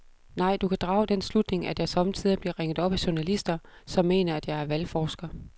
Nej, du kan drage den slutning, at jeg sommetider bliver ringet op af journalister, som mener, at jeg er valgforsker.